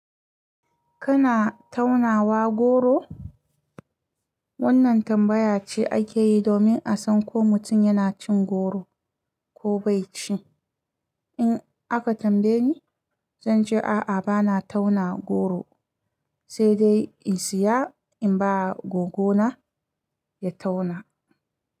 Kana taunawa goro? Wannan tambaya ce ake yi domin a san ko mutum yana cin goro ko bai ci. In aka tambaye ni, zan ce a'a bana tauna goro, sai dai in siya in ba gogona ya tauna.